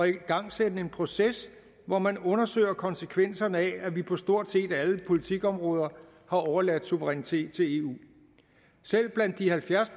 igangsætte en proces hvor man undersøger konsekvenserne af at vi på stort set alle politikområder har overladt suverænitet til eu selv blandt de halvfjerds